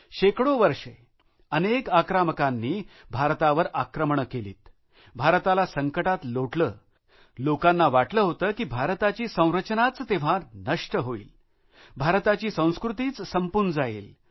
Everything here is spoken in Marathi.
शेकडो वर्षे अनेक आक्रमकांनी भारतावर आक्रमणं केलीत भारताला संकटात लोटलं लोकांना वाटलं होतं की भारताची संरचनाच तेव्हा नष्ट होईल भारताची संस्कृतीच संपून जाईल